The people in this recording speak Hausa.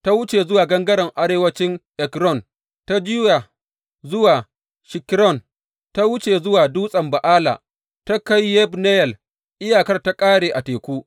Ta wuce zuwa gangaren arewancin Ekron, ta juya zuwa Shikkeron, ta wuce zuwa Dutsen Ba’ala, ta kai Yabneyel, iyakarta ta ƙare a teku.